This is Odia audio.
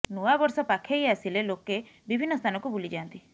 ନୂଆବର୍ଷ ପାଖେଇ ଆସିଲେ ଲୋକେ ବିଭିନ୍ନ ସ୍ଥାନକୁ ବୁଲି ଯାଆନ୍ତି